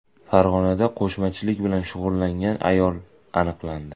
Farg‘onada qo‘shmachilik bilan shug‘ullangan ayol aniqlandi.